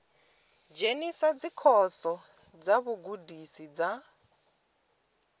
dzhenisa dzikhoso dza vhugudisi dza